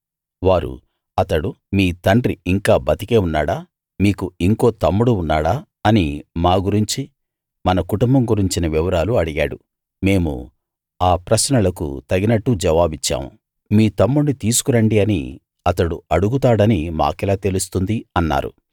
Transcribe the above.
వారు అతడు మీ తండ్రి ఇంకా బతికే ఉన్నాడా మీకు ఇంకో తమ్ముడు ఉన్నాడా అని మా గురించి మన కుటుంబం గురించిన వివరాలు అడిగాడు మేము ఆ ప్రశ్నలకు తగినట్టు జవాబిచ్చాము మీ తమ్ముణ్ణి తీసుకు రండి అని అతడు అడుగుతాడని మాకెలా తెలుస్తుంది అన్నారు